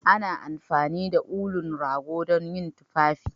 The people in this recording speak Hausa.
Ana amfani da ulun rago dan yin tufafi.